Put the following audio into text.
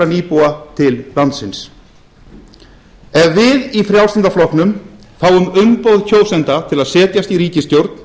nýbúa til landsins ef við í frjálslynda flokknum fáum umboð kjósenda til að setjast í ríkisstjórn